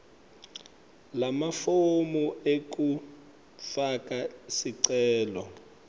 lamafomu ekufaka sicelo